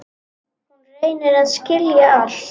Hún reynir að skilja allt.